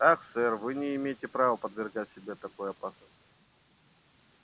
ах сэр вы не имеете права подвергать себя такой опасности